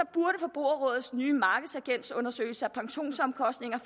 burde forbrugerrådets nye markedsagentundersøgelse af pensionsomkostninger